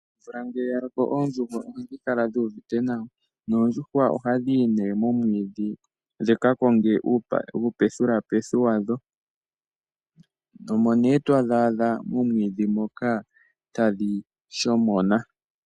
Omvula ngele yaloko oondjuhwa ohadhi kala dhuuvite nawa, noondjuhwa ohashi yi nee momwiidhi dhika konge uupathulapethu wadho, omo nee to dhi a dho momwiidhi moka tadhi shomona.